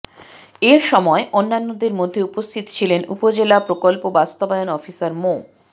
এ সময় অন্যদের মধ্যে উপস্থিত ছিলেন উপজেলা প্রকল্প বাস্তবায়ন অফিসার মো